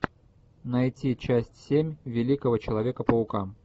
найти часть семь великого человека паука